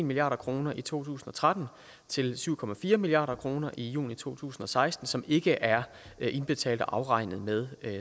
milliard kroner i to tusind og tretten til syv milliard kroner i juni to tusind og seksten som ikke er indbetalt til og afregnet med